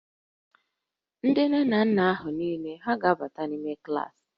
Ndị nne na nna niile hà ga-abata n'ime klaasị?